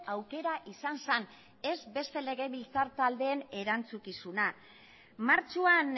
aukera izan zen ez beste legebiltzar taldeen erantzukizuna martxoan